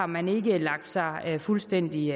man ikke havde lagt sig fuldstændig